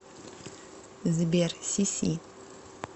сбер сиси